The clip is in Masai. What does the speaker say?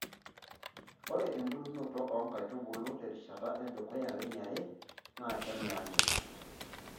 Ore embulunoto oo nkaitubulu terishata edukuya weniare naa kenyaanyuk.